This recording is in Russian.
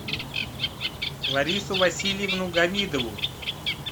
ларису васильевну гамидову